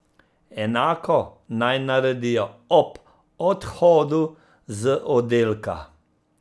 Enako naj naredijo ob odhodu z oddelka.